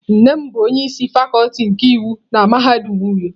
Nne m bu onye isi Fakuti nke iwu na mahadum uyo.